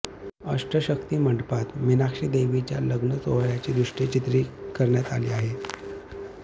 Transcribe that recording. अष्टशक्ती मंडपात मीनाक्षी देवीच्या लग्न सोहळ्याची दृश्ये चित्रित करण्यात आली आहेत